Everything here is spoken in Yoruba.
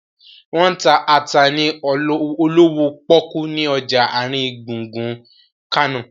Wọ́n ń ta ata ni olówó pọ́kú ni ọjà àrin gbùngbùn Kánò